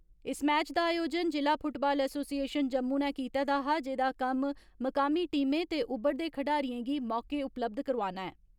इस मैच दा आयोजन जिला फुटबाल एसोसिएशन जम्मू नै कीते दा हा जेदा कम्म मुकामी टीमें ते उभरदे खडारिएं गी मौके उपलब्ध करोआना ऐ।